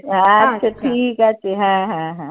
আচ্ছা, ঠিকাছে হ্যাঁ হ্যাঁ হ্যাঁ।